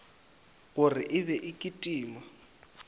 gore e be e kitima